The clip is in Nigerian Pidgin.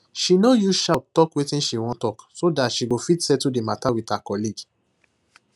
she no use shout talk wetin she wan talk so that she go fit settle the matter with her colleague